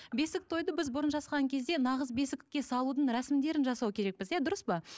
бесік тойды біз бұрын жасаған кезде нағыз бесікке салудың рәсімдерін жасау керекпіз иә дұрыс па